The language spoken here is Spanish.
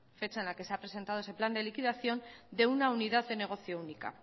fecha en la que se ha presentado ese plan de liquidación de una unidad de negocio única